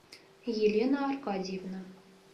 елена аркадьевна